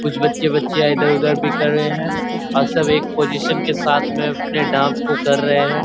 कुछ बच्चे बच्चियां इधर-उधर भी कर रहे हैं और सब एक पोजिशन के साथ में अपने डांस को कर रहे हैं ।